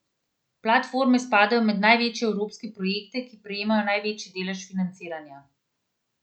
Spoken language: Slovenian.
Platforme spadajo med največje evropske projekte, ki prejmejo največji delež financiranja.